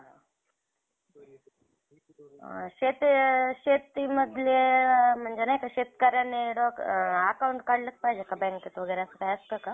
अ शेती शेतीमधले म्हणजे नाही का शेतकऱ्यांनी account काढलेच पाहिजेत का बँकेत वगैरे असं काय असतं का?